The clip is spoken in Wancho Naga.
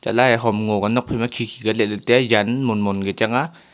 lahle hom ngo ka nokphai ma khe khe ka a let lah tai a jan mon mon ka chang a.